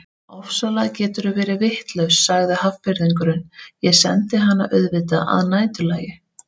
Ofsalega geturðu verið vitlaus sagði Hafnfirðingurinn, ég sendi hana auðvitað að næturlagi